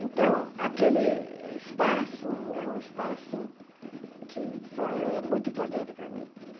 Então, aquele espaço é um espaço que fa muito importante para mim.